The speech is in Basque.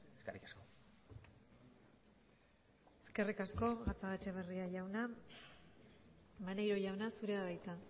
eskerrik asko eskerrik asko gatzagaetxebarria jauna maneiro jauna zurea da hitza